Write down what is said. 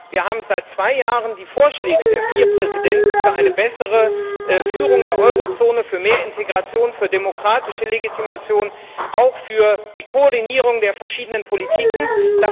Aber wir haben seit zwei Jahren die Vorschläge der vier Präsidenten für eine bessere Führung der Eurozone, für mehr Integration, für demokratische Legitimation, auch für die Koordinierung der verschiedenen Politikbereiche.